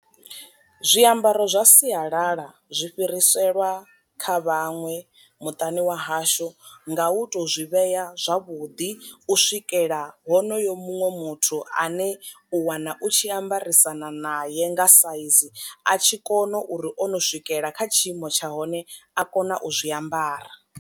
Zwiambaro zwa sialala zwi fhiriselwa kha vhaṅwe muṱani wa hashu nga u to zwi vhea zwavhuḓi u swikela honoyo muṅwe muthu ane u wana u tshi ambarisana naye nga size a tshi kona uri ono swikelela kha tshiimo tsha hone a kona u zwi ambara.